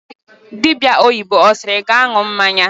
dibïa oyibo asiri ga anu mmanya?